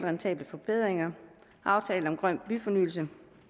rentable forbedringer og aftalen om grøn byfornyelse